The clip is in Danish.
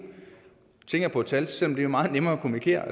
tænker på et tal selv om det jo er meget nemmere at kommunikere